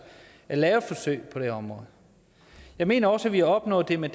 at lave forsøg på det område jeg mener også at vi har opnået det med